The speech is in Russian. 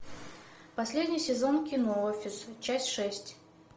последний сезон кино офис часть шесть